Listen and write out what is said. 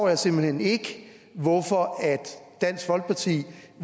jeg simpelt hen ikke hvorfor dansk folkeparti